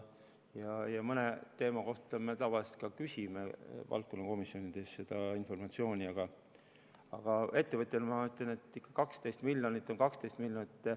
Mõne teema kohta me tavaliselt küsime ka informatsiooni valdkonnakomisjonidest, aga ettevõtjana ma ütlen, et 12 miljonit on 12 miljonit.